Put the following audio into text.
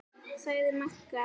sagði Magga.